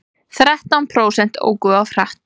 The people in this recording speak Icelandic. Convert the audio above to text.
Þrettán prósent óku of hratt